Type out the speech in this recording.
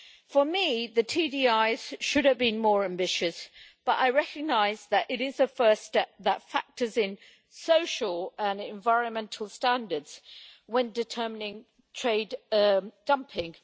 For me, the TDIs should have been more ambitious, but I recognise that they are a first step that factors in social and environmental standards when determining trade dumping.